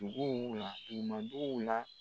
ɲuman b'o la